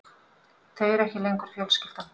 Þau eru ekki lengur fjölskyldan.